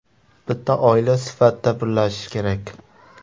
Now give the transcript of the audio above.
Bitta oila sifatida birlashish kerak.